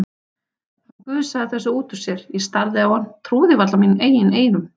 Hann gusaði þessu út úr sér, ég starði á hann, trúði varla mínum eigin eyrum.